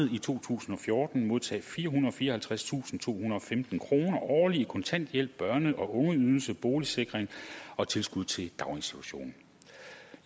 i to tusind og fjorten modtage firehundrede og fireoghalvtredstusindtohundrede og femten kroner årligt i kontanthjælp børne og ungeydelse boligsikring og tilskud til daginstitution i